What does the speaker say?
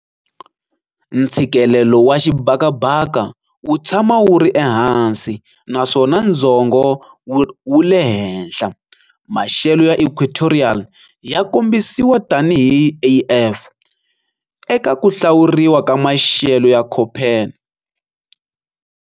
Ntshikelelo wa xibakabaka wu tshama wuri ehansi naswona ndzhongho wule henhla. Maxelo ya equatorial ya kombisiwa tani hi Af eka ku hlawuriwa ka maxelo ya Köppen.